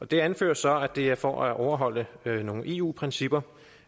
det anføres så at det er for at overholde nogle eu principper